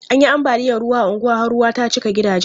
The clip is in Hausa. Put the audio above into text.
An yi ambaliyan ruwa a unguwan har ruwa ta cika gidajen.